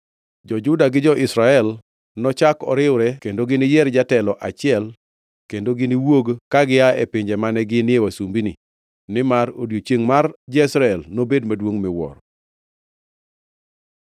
Jo-Juda gi jo-Israel nochak riwre kendo giniyier jatelo achiel kendo giniwuogi ka gia e pinje mane ginie wasumbini nimar odiechiengʼ mar Jezreel nobed maduongʼ miwuoro.”